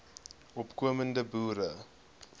opko mende boere